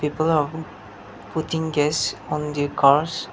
putting gas on the cars.